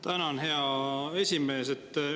Tänan, hea esimees!